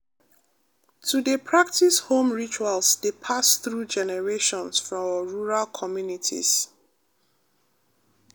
to dey practice home rituals dey pass through generations for rural communities pause